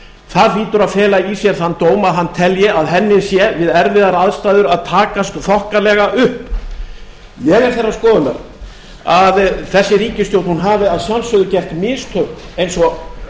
það hlýtur að fela í sér þann dóm að hann telji að henni sé við erfiðar aðstæður að takast þokkalega upp ég er þeirrar skoðunar að þessi ríkisstjórn hafi að sjálfsögðu gert mistök eins og